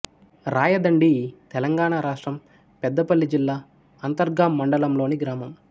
రాయదండి తెలంగాణ రాష్ట్రం పెద్దపల్లి జిల్లా అంతర్గాం మండలంలోని గ్రామం